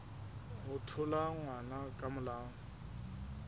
ho thola ngwana ka molao